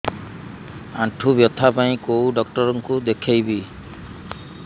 ଆଣ୍ଠୁ ବ୍ୟଥା ପାଇଁ କୋଉ ଡକ୍ଟର ଙ୍କୁ ଦେଖେଇବି